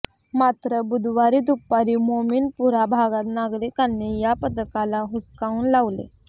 मात्र बुधवारी दुपारी मोमीनपुरा भागात नागरिकांनी या पथकाला हुसकावून लावले